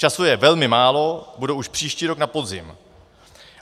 Času je velmi málo, budou už příští rok na podzim.